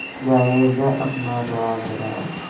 गाये जा अपना राग राग